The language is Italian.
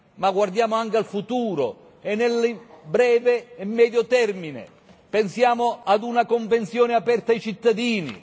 Ma guardiamo anche al futuro, e nel breve e medio termine, pensiamo a una convenzione aperta ai cittadini.